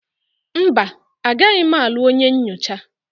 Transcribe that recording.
Mba, agaghị m alụ onye nyocha